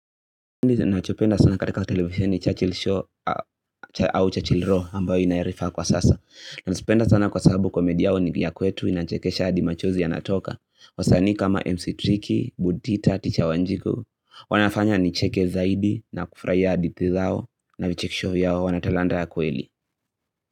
Ndi ninachopenda sana katika televisheni Churchill Show au Churchill Raw ambayo inayarifa kwa sasa nazipenda sana kwa sababu komedi ni ya kwetu inachekesha hadi machozi ya natoka wasanii kama MC Tricky, Budita, Ticha Wanjigo wanafanya nicheke zaidi na kufurahia hadithi zao na vichekesho vyao wanatalanta ya kweli.